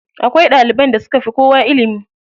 Akwai ɗaliban da suka fi kowa ilimi.